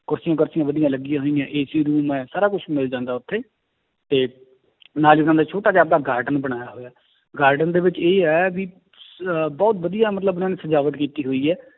ਕੁਰਸੀਆਂ ਕਰਸੀਆਂ ਵਧੀਆ ਲੱਗੀਆਂ ਹੋਈਆਂ AC room ਹੈ, ਸਾਰਾ ਕੁਛ ਮਿਲ ਜਾਂਦਾ ਉੱਥੇ ਤੇ ਨਾਲ ਹੀ ਉਹਨਾਂ ਦਾ ਛੋਟਾ ਜਿਹਾ ਆਪਦਾ garden ਬਣਾਇਆ ਹੋਇਆ garden ਦੇ ਵਿੱਚ ਇਹ ਹੈ ਵੀ ਅਹ ਬਹੁਤ ਵਧੀਆ ਮਤਲਬ ਉਹਨਾਂ ਨੇ ਸਜਾਵਟ ਕੀਤੀ ਹੋਈ ਹੈ।